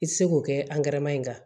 I tɛ se k'o kɛ ankɛrɛ ma in kan